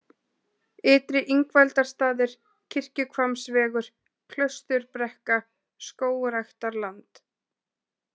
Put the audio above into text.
Ytri-Ingveldarstaðir, Kirkjuhvammsvegur, Klausturbrekka, Skógræktarland